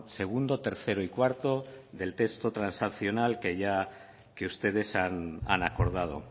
segundo tercero y cuarto del texto transaccional que ya que ustedes han acordado